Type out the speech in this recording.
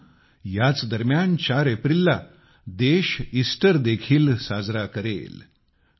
मित्रानो याच दरम्यान 4 एप्रिलला देश ईस्टर देखील साजरा करेल